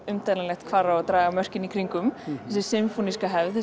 umdeilanlegt hvar á að draga mörkin í kring um þessi sinfóníska hefð